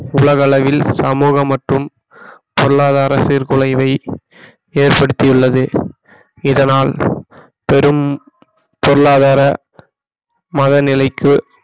உலக அளவில் சமூகம் மற்றும் பொருளாதார சீர்குலைவை ஏற்படுத்தியுள்ளது இதனால் பெரும் பொருளாதார மத நிலைக்கு